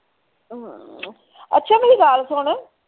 ਹਮ ਅੱਛਾ ਮੇਰੀ ਗੱਲ ਸੁਣ।